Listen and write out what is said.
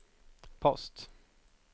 post